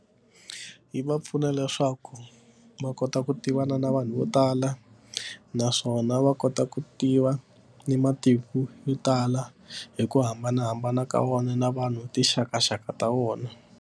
Yi va pfuna leswaku va kota ku tivana na vanhu vo tala naswona va kota ku tiva ni matiko yo tala hi ku hambanahambana ka wona na vanhu tinxakaxaka ta vona.